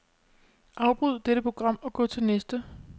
Afbryd dette program og gå til næste.